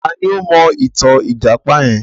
Ta ni ó mọ ìtàn ìjàpá yẹn?